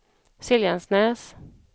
Siljansnäs